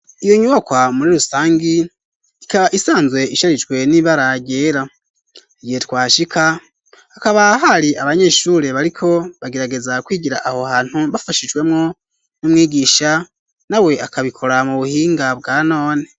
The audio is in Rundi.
Iyo nyubakwa muri rusangi ikaba isanzwe isharijwe n'ibaragera igihe twa shika akabahari abanyeshure bariko bagerageza kwigira aho hantu bafashijwemwo n'umwigisha na we akabikora mu buhinga bwa none.